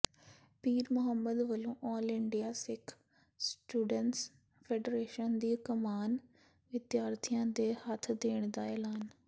ਪੀਰਮੁਹੰਮਦ ਵਲੋਂ all India Sikh students federation ਦੀ ਕਮਾਨ ਵਿਦਿਆਰਥੀਆਂ ਦੇ ਹੱਥ ਦੇਣ ਦਾ ਐਲਾਨ